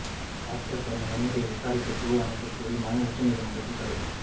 tractor பேரணி வன்முறையை விசாரிக்க குழு அமைக்கக் கோரிய மனு உச்சநீதிமன்றத்தில் தள்ளுபடி